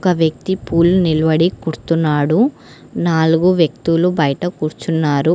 ఒక వ్యక్తి పూలు నిల్వడి కుడ్తున్నాడు నాలుగు వ్యక్తులు బయట కూర్చున్నారు.